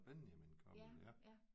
Benjamin Koppel ja